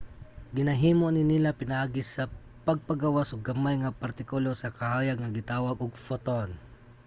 ginahimo ni nila pinaagi sa pagpagawas og gamay nga partikulo sa kahayag nga gitawag og photon